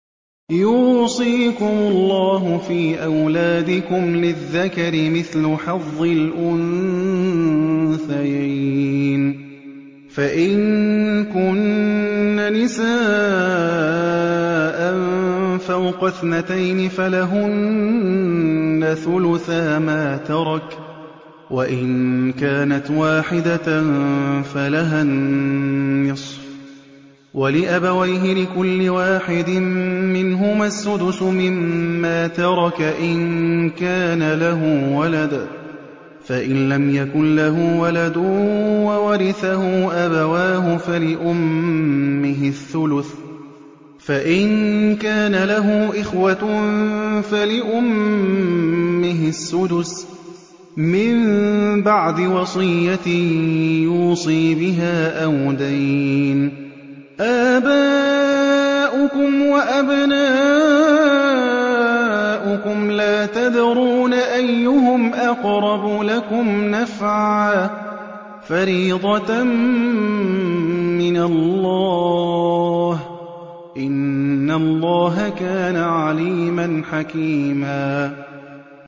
يُوصِيكُمُ اللَّهُ فِي أَوْلَادِكُمْ ۖ لِلذَّكَرِ مِثْلُ حَظِّ الْأُنثَيَيْنِ ۚ فَإِن كُنَّ نِسَاءً فَوْقَ اثْنَتَيْنِ فَلَهُنَّ ثُلُثَا مَا تَرَكَ ۖ وَإِن كَانَتْ وَاحِدَةً فَلَهَا النِّصْفُ ۚ وَلِأَبَوَيْهِ لِكُلِّ وَاحِدٍ مِّنْهُمَا السُّدُسُ مِمَّا تَرَكَ إِن كَانَ لَهُ وَلَدٌ ۚ فَإِن لَّمْ يَكُن لَّهُ وَلَدٌ وَوَرِثَهُ أَبَوَاهُ فَلِأُمِّهِ الثُّلُثُ ۚ فَإِن كَانَ لَهُ إِخْوَةٌ فَلِأُمِّهِ السُّدُسُ ۚ مِن بَعْدِ وَصِيَّةٍ يُوصِي بِهَا أَوْ دَيْنٍ ۗ آبَاؤُكُمْ وَأَبْنَاؤُكُمْ لَا تَدْرُونَ أَيُّهُمْ أَقْرَبُ لَكُمْ نَفْعًا ۚ فَرِيضَةً مِّنَ اللَّهِ ۗ إِنَّ اللَّهَ كَانَ عَلِيمًا حَكِيمًا